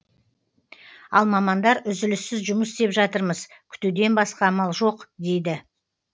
ал мамандар үзіліссіз жұмыс істеп жатырмыз күтуден басқа амал жоқ дейді